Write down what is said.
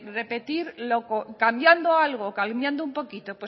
repetir cambiando algo cambiando un poquito